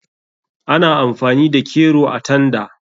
Ana amfani da kero a tanda.